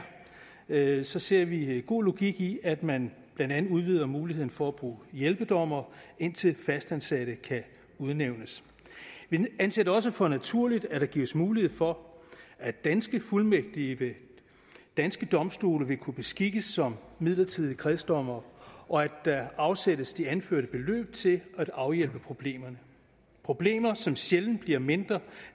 er så ser vi god logik i at man blandt andet udvider muligheden for at bruge hjælpedommere indtil fastansatte kan udnævnes vi anser det også for naturligt at der gives mulighed for at danske fuldmægtige ved danske domstole vil kunne beskikkes som midlertidige kredsdommere og at der afsættes de anførte beløb til at afhjælpe problemerne problemer som sjældent bliver mindre